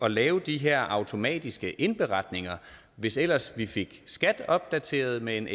at lave de her automatiske indberetninger hvis ellers vi fik skat opdateret med en